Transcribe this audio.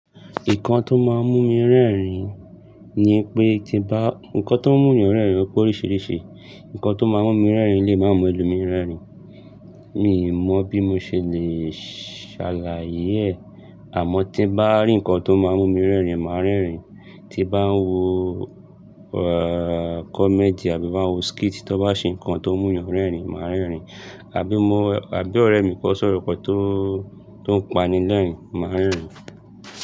Nǹkan tó máa ń mú mi rẹ́rìn-ín ni pé tí bá, nǹkan tó ń mú ènìyàn rẹ́rìn-ín pọ̀ oríṣiríṣi, nǹkan tó máa ń mú mi rẹ́rìn-ín lè máa mú ẹlòmíì rẹ́rìn-ín. Mi ò mọ̀ bí mo ṣe le ṣàlàyé ẹ̀, àmọ́ tí bá rí nǹkan tó máa ń mú mi rẹ́rìn-ín, màá rẹ́rìn-ín. Tí bá ń wo comedy àbí bá ń wo skit tó bá ṣe nǹkan tó ń mú ènìyàn rẹ́rìn-ín, màá rẹ́rìn-ín. Àbí mo, àbí ọ̀rẹ́ mi kó sọ̀rọ̀ kan tó ń pani lẹ́rìn-ín, màá rẹ́rìn-ín.